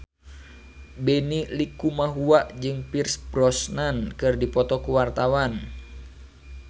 Benny Likumahua jeung Pierce Brosnan keur dipoto ku wartawan